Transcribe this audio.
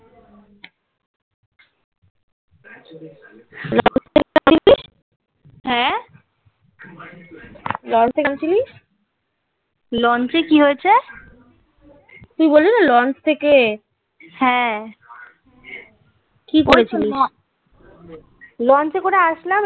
চিনিস? launch কি হয়েছে? তুই বললি না launch থেকে. হ্যাঁ কি করেছিলিস